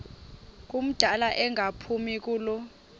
ngumdala engaphumi kulo